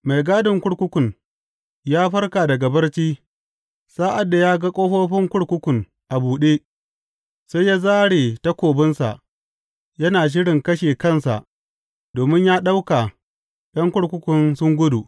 Mai gadin kurkukun ya farka daga barci, sa’ad da ya ga ƙofofin kurkukun a buɗe, sai ya zāre takobinsa yana shirin kashe kansa domin ya ɗauka ’yan kurkukun sun gudu.